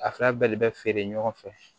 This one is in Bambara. A fila bɛɛ de bɛ feere ɲɔgɔn fɛ